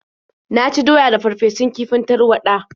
Na ci doya da farfesun kifin tarwaɗa.